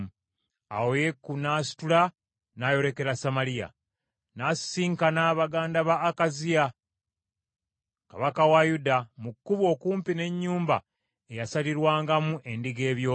Awo Yeeku n’asitula n’ayolekera Samaliya. N’asisinkana baganda ba Akaziya kabaka wa Yuda mu kkubo okumpi n’ennyumba eyasalirwangamu endiga ebyoya,